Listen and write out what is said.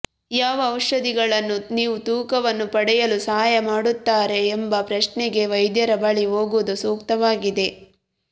ಯಾವ ಔಷಧಿಗಳನ್ನು ನೀವು ತೂಕವನ್ನು ಪಡೆಯಲು ಸಹಾಯ ಮಾಡುತ್ತಾರೆ ಎಂಬ ಪ್ರಶ್ನೆಗೆ ವೈದ್ಯರ ಬಳಿ ಹೋಗುವುದು ಸೂಕ್ತವಾಗಿದೆ